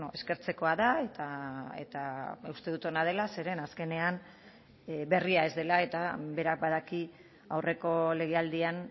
eskertzekoa da eta uste dut ona dela zeren azkenean berria ez dela eta berak badaki aurreko legealdian